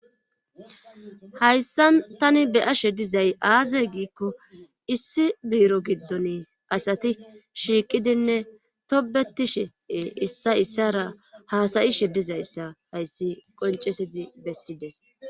hayssan tani beyashe dizay aaze giikko issi biiro giddon asati shiiqidinne tobetishee issa issara haasayishe dizayssa hayssi qoncesidi bessides